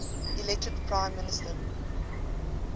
elected prime minister